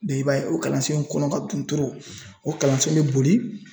i b'a ye o kalansen in kɔnɔ ka dun o kalansen be boli